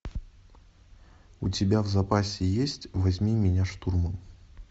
у тебя в запасе есть возьми меня штурмом